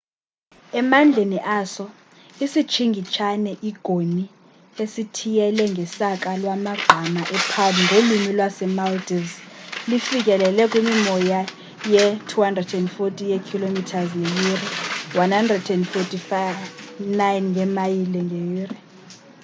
emandleni aso isitshingitshane i-goni esithiyele ngesaka lamagqama e-palm ngolwimi lase-maldives lifikele kwimimoya ye-240 ye-km ngeyure 149 yeemayile ngeyure